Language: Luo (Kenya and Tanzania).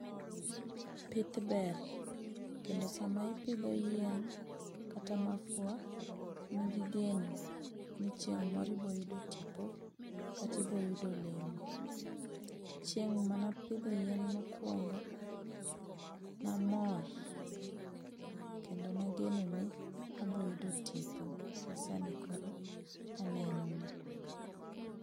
Pith ber. Kendo sama ipidho yien kata mafua, in gi geno, ni chieng' moro ibiro yudo tipo kata ibiro yudo olemo. Chieng' mane apidhe yien mokwongo ne amor. Kendo ne ageno ni abiro yudo tipo masani koro anenoni.